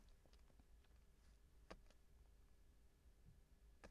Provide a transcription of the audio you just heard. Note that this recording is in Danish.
DR2